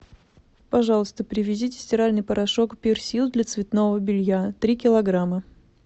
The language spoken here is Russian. пожалуйста привезите стиральный порошок персил для цветного белья три килограмма